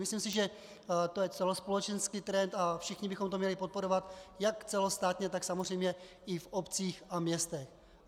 Myslím si, že to je celospolečenský trend, a všichni bychom to měli podporovat jak celostátně, tak samozřejmě i v obcích a městech.